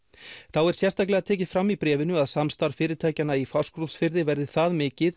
þá er sérstaklega tekið fram í bréfinu að samstarf fyrirtækjanna í Fáskrúðsfirði verði það mikið